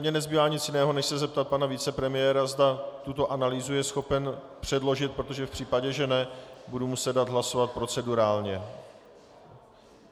Mně nezbývá nic jiného než se zeptat pana vicepremiéra, zda tuto analýzu je schopen předložit, protože v případě, že ne, budu muset dát hlasovat procedurálně.